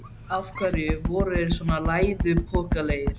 Af hverju voru þeir svona læðupokalegir?